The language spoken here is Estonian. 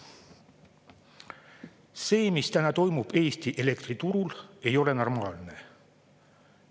See, mis toimub Eesti elektriturul, ei ole normaalne.